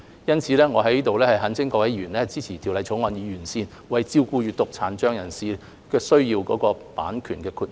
因此，我在這裏懇請各位委員支持《條例草案》，以完善為照顧閱讀殘障人士需要的版權豁免。